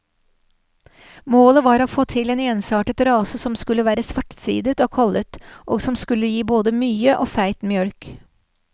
Målet var å få til en ensartet rase som skulle være svartsidet og kollet, og som skulle gi både mye og feit mjølk.